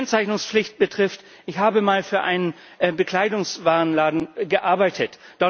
Was die Kennzeichnungspflicht betrifft Ich habe mal für einen Bekleidungswarenladen gearbeitet.